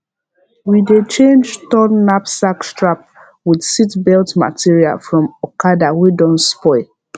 we dey change torn knapsack strap with seatbelt material from okada wey don spoil